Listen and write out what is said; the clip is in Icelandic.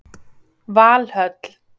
Valhöll